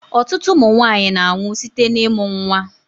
Ọtụtụ ụmụnwanyi na-anwu site na-ịmụ nnwa.